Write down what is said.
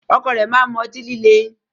Ọkọ rẹ ma n mú ọ̀tí-lílẹ̀